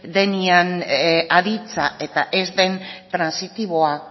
denean aditza eta trantsitiboa